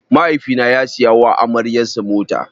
Mahaifi na ya siya wa amaryar sa mota.